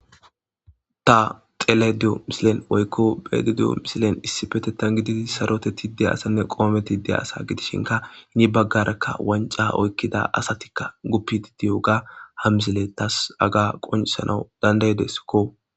Ta telayide diyo misilen woykko be7ayide diyo misilen issi petetan gididi sarotetide asanne qoometide asa gidishinka hini baggarekka wanca oykkida asatikka guppidi diyoga ha misile tasi haga qonsanau dandaydeskko.